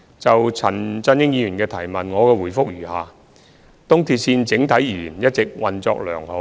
就陳振英議員的質詢，我的答覆如下：一東鐵線整體而言一直運作良好。